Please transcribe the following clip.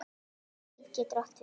LÍF getur átt við